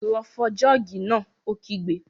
Lọ fọ jọ́ọ̀gì náà! Ó kígbe